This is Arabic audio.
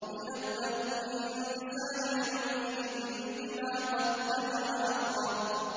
يُنَبَّأُ الْإِنسَانُ يَوْمَئِذٍ بِمَا قَدَّمَ وَأَخَّرَ